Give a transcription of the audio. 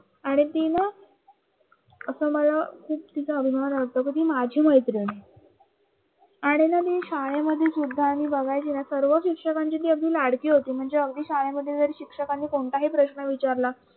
आणि ती ना तिचा खूप अभिमान वाटतो ती माझी मैत्रीण आहे आणि ना मी शाळेमध्ये सुद्धा मी बघायचे ना ती सर्व शिक्षकांची लाडकी होती लाडकी म्हणजे अगदी शाळेमध्ये शिक्षकांनी कोणताही ही प्रश्न विचारला